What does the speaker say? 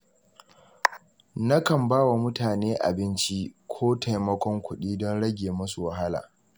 Nakan ba wa mutane abinci ko taimakon kuɗi don rage musu wahala.